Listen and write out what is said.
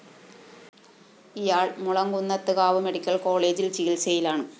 ഇയാള്‍ മുളങ്കുന്നത്ത്കാവ് മെഡിക്കൽ കോളേജില്‍ ചികിത്സയിലാണ്